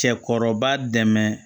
Cɛkɔrɔba dɛmɛ